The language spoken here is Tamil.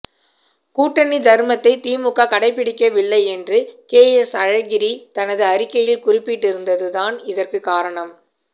கூட்டணி தர்மத்தை திமுக கடைபிடிக்கவில்லை என்று கேஎஸ் அழகிரி தனது அறிக்கையில் குறிப்பிட்டிருந்தது தான் இதற்கு காரணம்